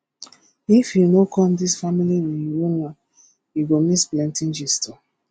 if you no come dis family reunion you go miss plenty gist